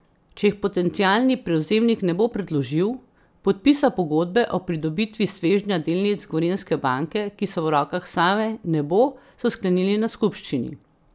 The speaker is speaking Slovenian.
Če jih potencialni prevzemnik ne bo predložil, podpisa pogodbe o pridobitvi svežnja delnic Gorenjske banke, ki so v rokah Save, ne bo, so sklenili na skupščini.